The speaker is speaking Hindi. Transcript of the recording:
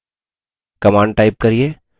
command type करिये: